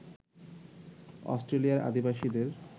অস্ট্রেলিয়ার আদিবাসীদের